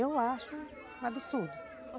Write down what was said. Eu acho um absurdo.